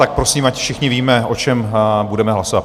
Tak prosím, ať všichni víme, o čem budeme hlasovat.